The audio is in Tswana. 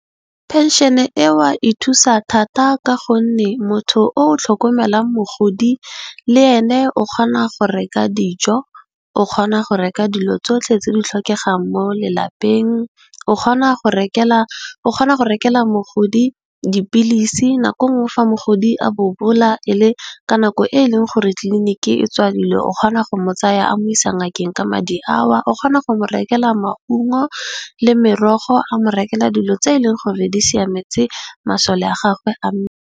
Phenšene eo ya thusa thata ka gonne motho o tlhokomelang mogodi le ene o kgona go reka dijo, o kgona go reka dilo tsotlhe tse di tlhokegang mo lelapeng o kgona go rekela mogodi dipilisi. Nako nngwe fa mogodi a bobola e le ka nako e e leng gore tliliniki e tswadilwe o kgona go mo tsaya a mo isa ngakeng ka madi ao, o kgona go mo rekela maungo le merogo, a mo rekela dilo tse e leng gore di siametse masole a gagwe a mmele.